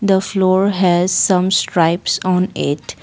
the floor has some stripes on it.